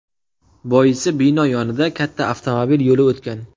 Boisi bino yonida katta avtomobil yo‘li o‘tgan.